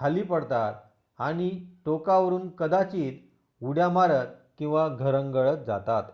खाली पडतात आणि टोकावरून कदाचित उड्या मारत किंवा घरंगळत जातात